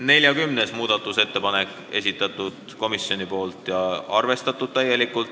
40. muudatusettepaneku on esitanud komisjon ja on täielikult arvestatud.